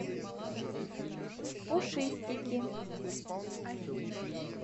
пушистики